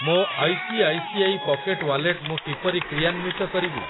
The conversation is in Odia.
ମୋ I C I C I pocket wallet ମୁଁ କିପରି କ୍ରିୟାନ୍ଵିତ କରିବି?